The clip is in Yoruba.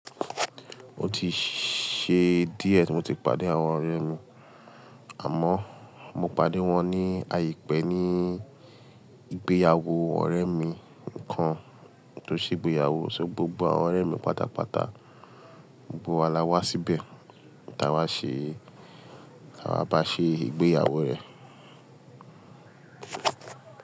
Mo ti ṣe díẹ̀ tí mo ti pàdé àwọn ọ̀rẹ́ mi. Àmọ́, mo pàdé wọn ní àìpẹ́ ní ìgbéyàwó ọ̀rẹ́ mi kan tó ṣe ìgbéyàwó. So gbogbo àwọn ọ̀rẹ́ mi pátápátá gbogbo wa lọ wá síbẹ̀ kí a wá ṣe, kí a wá bá ṣe ìgbéyàwó rẹ̀